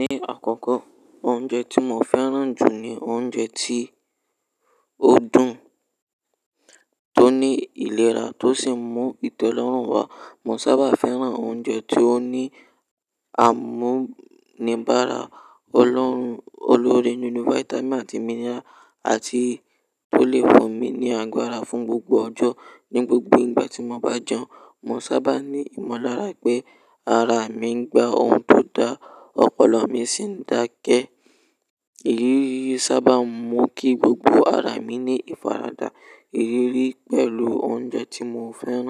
Ní àkọ́kọ́, oúnjẹ tí mo fẹ́ràn jù ni oúnjẹ tí ó dùn, tó ní ìlera, tó sì mú ìtẹ́lọ́rùn wá. Mo sábà fẹ́ràn oúnjẹ tí ó ní àmúníbàrà ọlọ́run, olórí ninú vitamin àti mineral, àti tó lè fún mi ní agbára fún gbogbo ọjọ́. Ní gbogbo ìgbà tí mo bá jẹun, mo sábà ní ìmọ̀lára pé ara mi ń gba ohun tó da, ọpọlọ mi sì ń dàákẹ́. Ìrírí yìí sábà ń mú kí gbogbo ara mi ní ìfaradà. Ìrírí pẹ̀lú oúnjẹ tí mo fẹ́ràn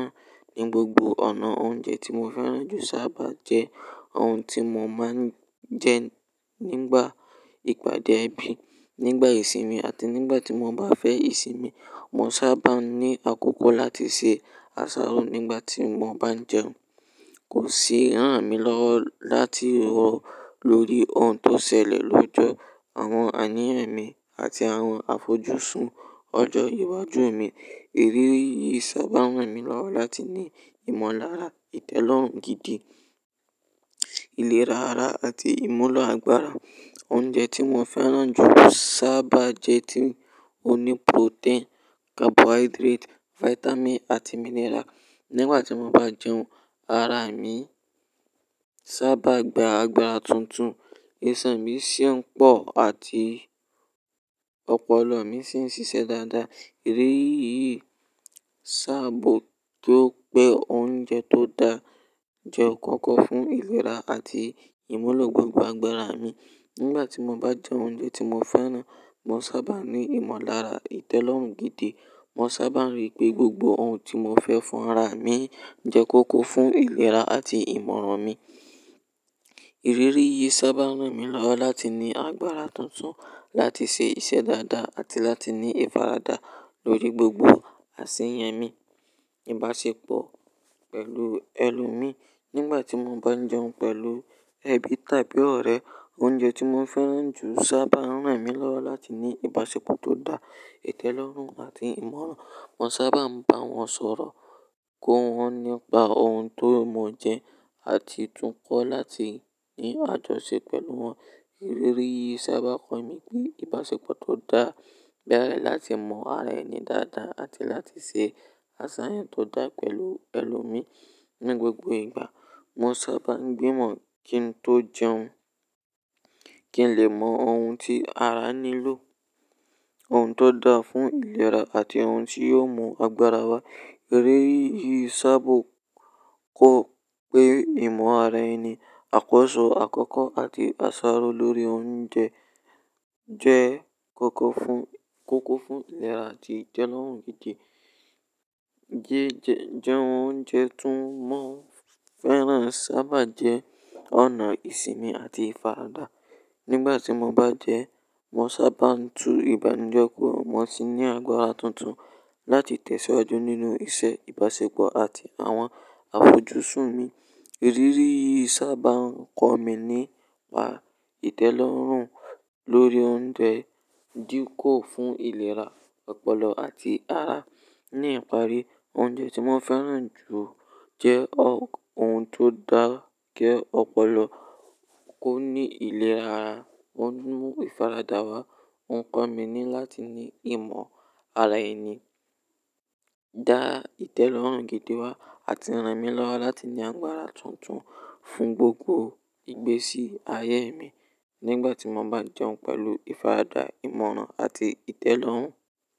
ní gbogbo ọ̀nà oúnjẹ tí mo fẹ́ràn jù sábà jẹ́ ohun tí mo máa ń jẹ nígbà ìpàdé ẹbí, nígbà ìsinmi àti nígbà tí mo bá fẹ́ ìsinmi. Mo sábà ń ní àkókò láti ṣe àsáró nígbà tí mo bá jẹun. Kò sì rán mi lọ́wọ́ láti rọ lórí ohun tó ṣẹlẹ̀ lójú àwọn àníyàn mi àti àwọn àfojúsùn ọjọ́ iwájú mi. Ìrírí yìí sábà rán mi lọ́wọ́ láti ní ìmọ̀lára, ìtẹ́lọ́rùn gidi, ìlera ara àti ìmúlò agbára. Oúnjẹ tí mo fẹ́ràn jù sábà jẹ́ tí ó ní protein, carbohydrate, vitamin àti mineral. Nígbà tí mo bá jẹun, ara mi sábà gba agbára tuntun, iṣan mi sì ń pọ̀ àti ọpọlọ mi sì ń ṣiṣẹ́ dáadáa. Ìrírí yìí sábò tó pé oúnjẹ tó da jẹ́ kókó fún ìlera àti ìmúlò gbogbo agbára mi. Nígbà tí mo bá jẹ oúnjẹ tí mo fẹ́ràn, mo sábà ní ìmọ̀lára, ìtẹ́lọ́rùn gidi. Mo sábà rí pé gbogbo ohun tí mo fẹ́ fún ara mi jẹ́ kókó fún ìlera àti ìmọ̀ràn mi. Ìrírí yìí sábà rán mi lọ́wọ́ láti ní agbára tuntun láti ṣe iṣẹ́ dáadáa àti láti ní ìfaradà lórí gbogbo àsèyàn mi. Ìbáṣepọ̀ pẹ̀lú ẹlòmíí, nígbà tí mo bá ń jẹun pẹ̀lú ẹbí tàbí ọ̀rẹ́, oúnjẹ tí mo fẹ́ràn jù sábà rán mi lọ́wọ́ láti ní ìbáṣepọ̀ tó dáa, ìtẹ́lọ́rùn àti ìmọ̀ràn. Mo sábà ń bá wọn sọ̀rọ̀, kọ́ wọn nípa ohun tó mo jẹ àti tún kọ́ láti ní àjọṣe pẹ̀lú wọn. Ìrírí yìí sábà kọ mí pé ìbáṣepọ̀ tó dáa bẹ́rẹ̀ láti mọ ara ẹni dáadáa àti láti ṣe àsàyàn tó dá pẹ̀lú ẹlòmíí. Ní gbogbo ìgbà, mo sábà ń gbìmọ̀ kí n tó jẹun, kí n lè mọ ohun tí ara nílò, ohun tó dáa fún ìlera àti ohun tí yóò mú agbára wá. Ìrírí yìí sábò kó pé ìmọ̀ ara ẹni, àkọ́ṣọ́ àkọ́kọ́ àti àsáró lórí oúnjẹ jẹ́ kókó fún ìlera àti ìtẹ́lọ́rùn gidi. Jí-jẹ oúnjẹ tì mo fẹ́ràn sábà jẹ́ ọ̀nà ìsinmi àti ìfaradà. Nígbà tí mo bá jẹun, mo sábà ń tu ìbànújẹ́ kó, mo sì ní agbára tuntun láti tẹ̀síwájú nínú iṣẹ́, ìbáṣepọ̀ àti àwọn àfojúsùn mi. Ìrírí yìí sábà ń kọ mí nípa ìtẹ́lọ́rùn lórí oúnjẹ, díkò fún ìlera ọpọlọ àti ara. Ní ìparí, oúnjẹ tí mo fẹ́ràn jù jẹ́ ohun tó dàákẹ́ ọpọlọ, kó ní ìlera ara, ó ń mú ìfaradà wá. Ó ń kọ́ mi ní láti ní ìmọ̀ ara ẹni, dá ìtẹ́lọ́rùn gidi wá àti rán mi lọ́wọ́ láti ní agbára tuntun fún gbogbo ìgbésí ayé mi nígbà tí mo bá jẹun pẹ̀lú ìfaradà, ìmọ̀ràn àti ìtẹ́lọ́rùn.